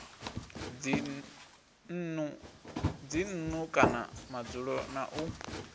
dzinnu kana madzulo na u